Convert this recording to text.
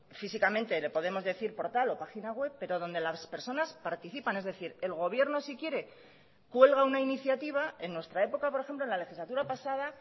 físicamente le podemos decir portal o página web pero donde las personas participan es decir el gobierno si quiere cuelga una iniciativa en nuestra época por ejemplo en la legislatura pasada